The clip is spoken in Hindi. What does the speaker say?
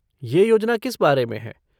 ये योजना किस बारे में है?